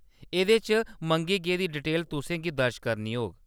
एह्‌‌‌दे च मंगी गेदी डिटेल तुसें गी दर्ज करनी होग।